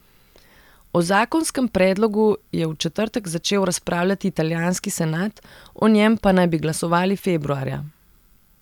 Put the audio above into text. O zakonskem predlogu je v četrtek začel razpravljati italijanski senat, o njem pa naj bi glasovali februarja.